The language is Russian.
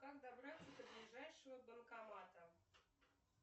как добраться до ближайшего банкомата